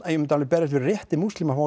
ég myndi alveg berjast fyrir rétti múslima á